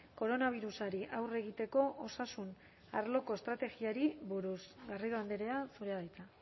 koronabirusari aurre egiteko osasun arloko estrategiari buruz garrido andrea zurea da hitza